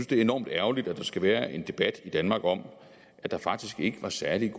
det er enormt ærgerligt at der skal være en debat i danmark om at der faktisk ikke var særlig